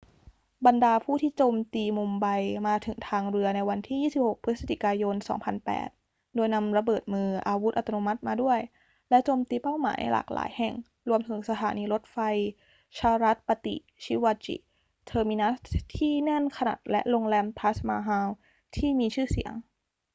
บรรดาผู้ที่โจมตีมุมไบมาถึงทางเรือในวันที่ 26 พฤศจิกายน 2008 โดยนำระเบิดมือ อาวุธอัตโนมัติมาด้วย และโจมตีเป้าหมายหลายแห่ง รวมถึงสถานีรถไฟ chhatrapati shivaji terminus ที่แน่นขนัดและโรงแรม taj mahal ที่ทีชื่เสียง